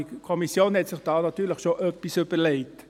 Die Kommission hat sich natürlich schon etwas gedacht.